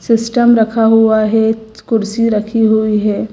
System रखा हुआ है कुर्सी रखी हुई है।